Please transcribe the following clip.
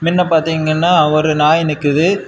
இங்கன்ன பாத்தீகனா ஒரு நாய் நிக்குது.